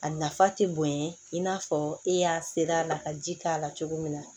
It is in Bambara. A nafa tɛ bonya ye in n'a fɔ e y'a ser'a naji k'a la cogo min na